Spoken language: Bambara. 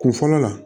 Kun fɔlɔ la